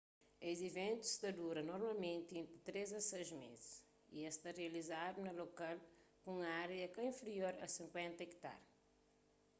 es iventus ta dura normalmenti entri três a sais mês y es ta rializadu na lokal ku un ária ka inferior a 50 ekitar